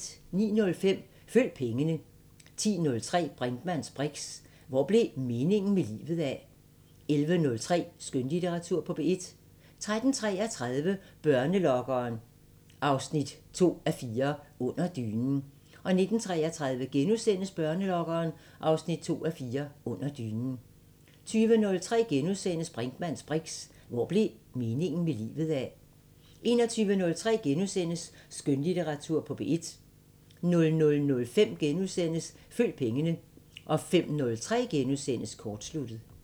09:05: Følg pengene 10:03: Brinkmanns briks: Hvor blev meningen med livet af? 11:03: Skønlitteratur på P1 13:33: Børnelokkeren 2:4 – Under dynen 19:33: Børnelokkeren 2:4 – Under dynen * 20:03: Brinkmanns briks: Hvor blev meningen med livet af? * 21:03: Skønlitteratur på P1 * 00:05: Følg pengene * 05:03: Kortsluttet *